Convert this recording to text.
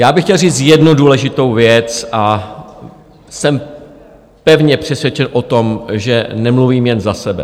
Já bych chtěl říct jednu důležitou věc a jsem pevně přesvědčen o tom, že nemluvím jen za sebe.